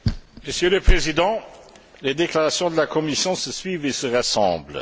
Monsieur le Président, les déclarations de la Commission se suivent et se ressemblent.